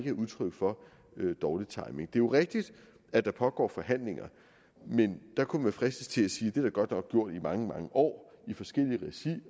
er udtryk for dårlig timing det jo rigtigt at der pågår forhandlinger men der kunne man fristes til at sige at der godt nok gjort i mange mange år i forskelligt regi